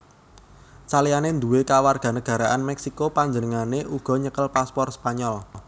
Saliyané nduwé kewarganagaraan Meksiko panjenengané uga nyekel paspor Spanyol